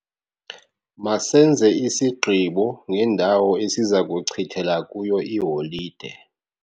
Masenze isigqibo ngendawo esiza kuchithela kuyo iholide.